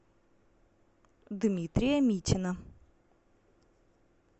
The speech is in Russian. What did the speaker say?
дмитрия митина